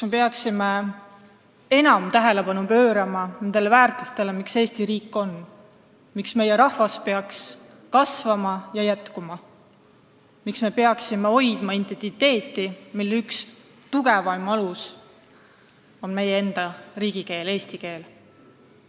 Me peaksime enam tähelepanu pöörama nendele väärtustele, miks Eesti riik üldse olemas on, miks meie rahvas peaks jätkuma ja kasvama, miks me peaksime hoidma oma identiteeti, mille üks tugevamaid aluseid on meie enda riigikeel, eesti keel.